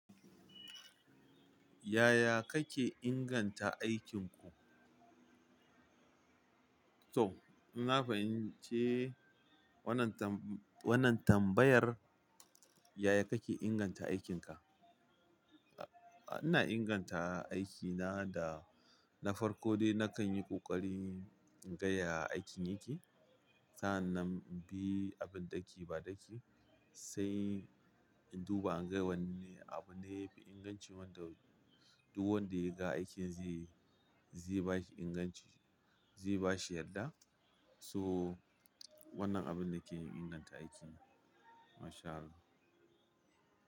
Yaya kake inganta aikinku? To, inna fahimci wannan tam- wannan tambayar. Yaya kake inganta aikinka? Ina inganta aikina da na farko dai nakan yi ƙoƙari in gaya aikin yake. Sa'an nan in bi abin ɗaki baɗaki, sai in duba in ga wanne abu na yafi inganci wanda duk wanda yaga aikin zai, zai bashi inganci, zai bashi yadda. So, wannan abin ne ke inganta aikin. MashAllah.